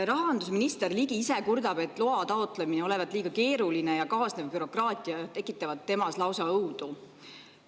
Rahandusminister Ligi kurdab, et loa taotlemine on liiga keeruline ja kaasnev bürokraatia tekitab temas lausa õudu.